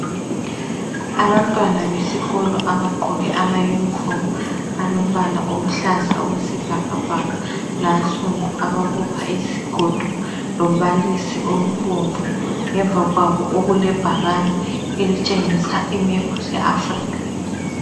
Abantwana besikolo abagqoke amayunifomu alombala oluhlaza okwesibhakabhaka, lansundu, ababopha izigodo lombalisi obomvu ngemva kwabo okulebhakane elitshengisa imephu ze Africa.